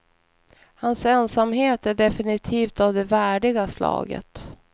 Hans ensamhet är definitivt av det värdiga slaget.